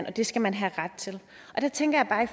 og det skal man have ret til der tænker jeg bare